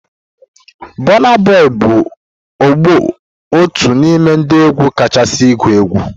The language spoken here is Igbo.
Burna Boy's bụ ugbu otu n'ime ndị egwu kachasị igu egwu.